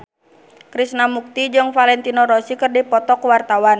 Krishna Mukti jeung Valentino Rossi keur dipoto ku wartawan